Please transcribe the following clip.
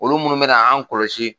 Olu munnu bɛ na'an kɔlɔsi.